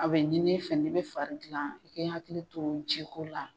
A bɛ ɲin'i fɛ n'i bɛ fari dilan i kɛ hakili to jiko la.